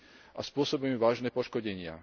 a spôsobuje vážne poškodenia.